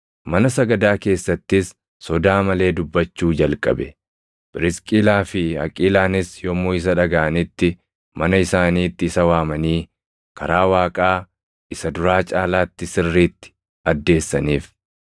Mana sagadaa keessattis sodaa malee dubbachuu jalqabe; Phirisqilaa fi Aqiilaanis yommuu isa dhagaʼanitti mana isaaniitti isa waamanii karaa Waaqaa isa duraa caalaatti sirriitti addeessaniif.